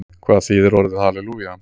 Hvað þýðir orðið halelúja?